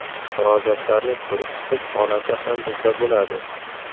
Murojaatlarni ko‘rib chiqib holati ham bizda bo‘ladi.